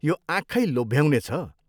यो आँखै लोभ्याउने छ।